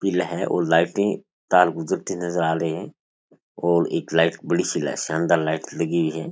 पीला है और लाइटें तार गुजरती नज़र आ रही है और एक लाईट बड़ी सी लाईट शानदार लाईट लगी हुई है।